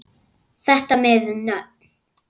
Þetta með nöfn